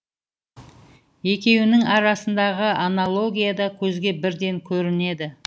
екеуінің арасындағы аналогия да көзге бірден көрінеді